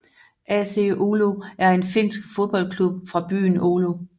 AC Oulu er en finsk fodboldklub fra byen Oulu